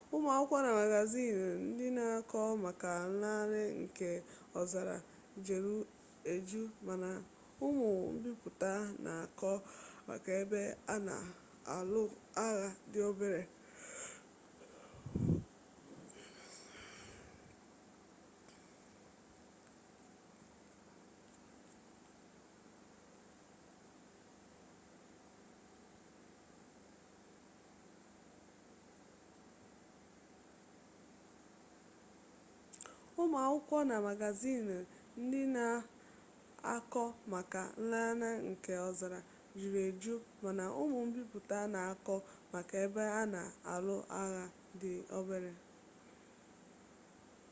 ụmụ akwụkwọ na magaziini ndị na-akọ maka nlanarị nke ọzara juru eju mana ụmụ mbipụta na-akọ maka ebe a na-alụ agha dị obere